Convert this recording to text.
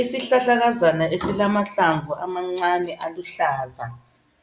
Isihlahlakazana esilamahlamvu amancane aluhlaza